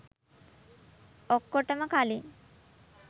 ඔක්කොටොම කලින්